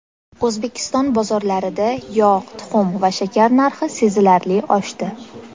O‘zbekiston bozorlarida yog‘, tuxum va shakar narxi sezilarli oshdi.